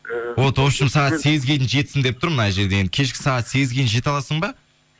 ы вот вообщем сағат сегізге дейін жетсін деп тұр мына жерде енді кешкі сағат сегізге дейін жете аласың ба